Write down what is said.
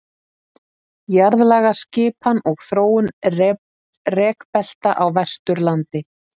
jarðlagaskipan og þróun rekbelta á vesturlandi